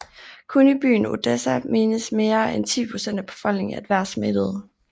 Kun i byen Odessa menes mere end 10 procent af befolkningen at være smittet